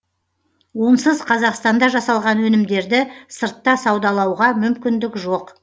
онсыз қазақстанда жасалған өнімдерді сыртта саудалауға мүмкіндік жоқ